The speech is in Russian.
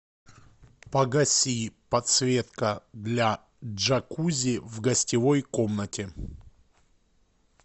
погаси подсветка для джакузи в гостевой комнате